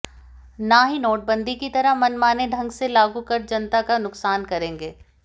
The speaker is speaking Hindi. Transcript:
न ही नोटबंदी की तरह मनमाने ढंग से लागू कर जनता का नुकसान करेंगे